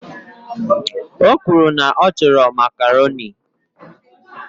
O kwuru na ya chọrọ Makaroni